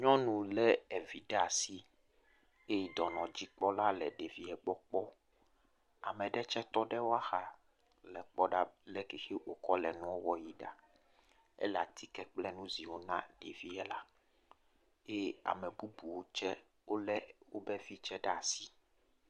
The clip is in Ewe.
Nyɔnu le evi ɖe asi eye dɔnɔdzikpɔla le ɖevia gbɔ kpɔm. Ame aɖe tse tɔ ɖe exa le ekpɔ ɖa le ale si wo kɔ le nua wɔ yi ɖa. Ele atike kple nuziwo na ɖevia la eye ame bubuwo tse wo le woƒe vi ɖe asi.